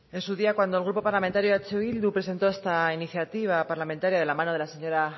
en su día cuando el grupo parlamentario eh bildu presentó esta iniciativa parlamentaria de la mano de la señora